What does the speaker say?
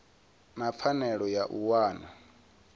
na pfanelo ya u wana